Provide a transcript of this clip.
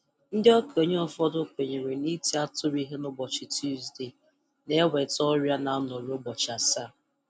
Ndị okenye ụfọdụ kwenyere na-iti atụrụ ihe n'ụbọchị Tusdee na-eweta ọrịa na-anọru ụbọchị asaa.